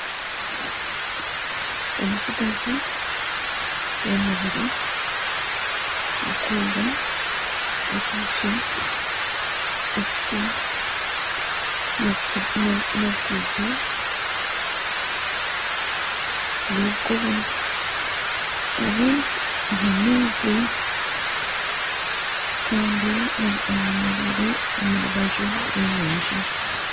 Omutsigazi w'omubiri gurikwera akwitse ekiti n'obukaito bw'obukoba ari aha maizi kandi ayemereire omu rubaju rw'enyanja